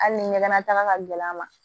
Hali ni ɲɛgɛn na taga ka gɛlɛn a ma